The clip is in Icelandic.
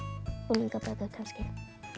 unglingabækur kannski